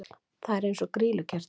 Það er eins og grýlukerti!